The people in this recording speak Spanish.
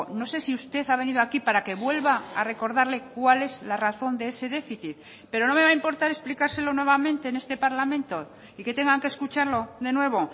no sé si usted ha venido aquí para que vuelva a recordarle cuál es la razón de ese déficit pero no me va a importar explicárselo nuevamente en este parlamento y que tengan que escucharlo de nuevo